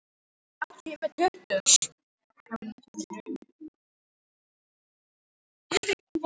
Fjöldinn breytist um sauðburðinn með hverju nýju lambi og síðan með náttúrulegum afföllum.